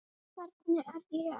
Hvernig er ég?